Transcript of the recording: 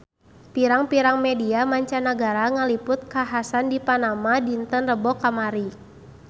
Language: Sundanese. Pirang-pirang media mancanagara ngaliput kakhasan di Panama dinten Rebo kamari